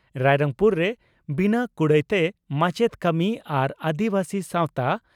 ᱨᱟᱭᱨᱚᱝᱯᱩᱨ ᱨᱮ ᱵᱤᱱᱟᱹ ᱠᱩᱲᱟᱹᱭᱛᱮ ᱢᱟᱪᱮᱛ ᱠᱟᱹᱢᱤ ᱟᱨ ᱟᱹᱫᱤᱵᱟᱹᱥᱤ ᱥᱟᱣᱛᱟ